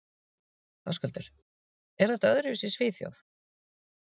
Höskuldur: Er þetta öðruvísi í Svíþjóð?